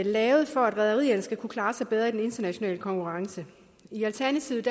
lavet for at rederierne skal kunne klare sig bedre i den internationale konkurrence i alternativet